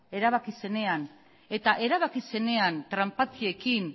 erabaki zenean eta erabaki zenean tranpatiekin